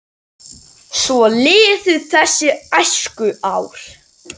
Svo liðu þessi æskuár.